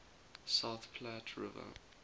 south platte river